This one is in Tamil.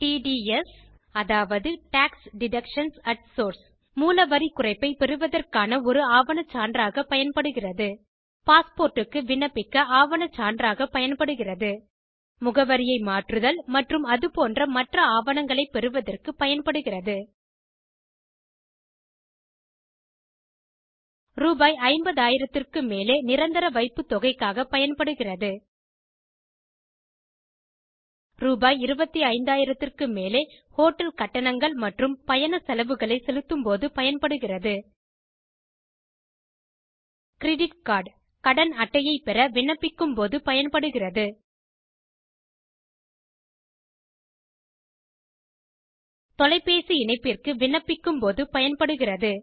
டிடிஎஸ் அதாவது மூல வரி குறைப்பை பெறுவதற்கான ஒரு ஆவணச் சான்றாக பயன்படுகிறது பாஸ்போர்ட்டுக்கு விண்ணப்பிக்க ஆவணச் சான்றாக பயன்படுகிறது முகவரியை மாற்றுதல் மற்றும் அதுபோன்ற மற்ற ஆவணங்களைப் பெறுவதற்கு பயன்படுகிறது ரூ50000 க்கு மேலே நிரந்தர வைப்புத் தொகைக்காக பயன்படுகிறது ரூ25000 க்கு மேலே ஹோட்டல் கட்டணங்கள் மற்றும் பயண செலவுகளை செலுத்தும்போது பயன்படுகிறது கிரெடிட் கார்ட் கடன் அட்டையை பெற விண்ணப்பிக்கும் போது பயன்படுகிறது தொடைப்பேசி இணைப்பிற்கு விண்ணப்பிக்கும் போது பயன்படுகிறது